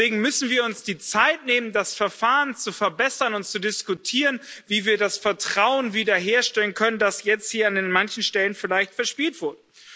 Deswegen müssen wir uns die Zeit nehmen, das Verfahren zu verbessern und zu diskutieren, wie wir das Vertrauen wiederherstellen können, das jetzt hier an manchen Stellen vielleicht verspielt wurde.